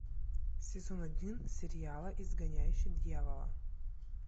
сезон один сериала изгоняющий дьявола